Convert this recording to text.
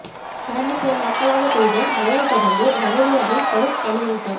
கடந்த சில நாட்களாக பெய்த மழையைத் தொடர்ந்து வவுனியாவில் கடும் பனிமூட்டம்